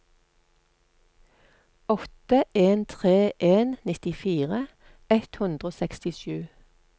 åtte en tre en nittifire ett hundre og sekstisju